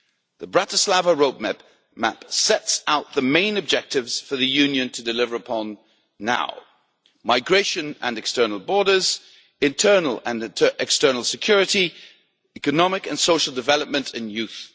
The Bratislava Roadmap sets out the main objectives for the Union to deliver on now migration and external borders, internal and external security, economic and social development and youth.